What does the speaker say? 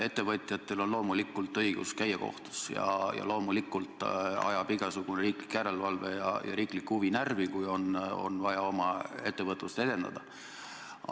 Ettevõtjatel on loomulikult õigus käia kohtus ja loomulikult ajab igasugune riiklik järelevalve ja riiklik huvi närvi, kui on vaja oma ettevõtlust edendada.